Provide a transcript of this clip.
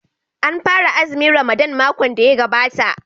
An fara azumin Ramadan makon da ya gabata.